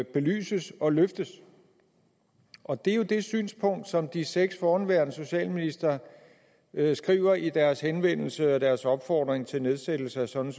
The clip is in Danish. belyses og løftes og det er jo det synspunkt som de seks forhenværende socialministre beskriver i deres henvendelse og deres opfordring til nedsættelse af sådan